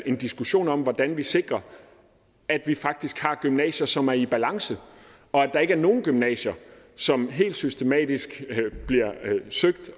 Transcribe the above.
en diskussion om hvordan vi sikrer at vi faktisk har gymnasier som er i balance og at der ikke er nogen gymnasier som helt systematisk bliver søgt